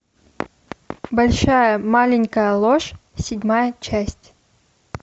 большая маленькая ложь седьмая часть